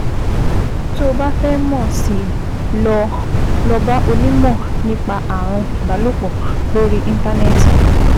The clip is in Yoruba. Tó o bá fẹ́ mọ̀ sí i, lọ i, lọ bá onímọ̀ nípa ààrùn ìbálòpọ̀ lórí Íńtánẹ́ẹ̀tì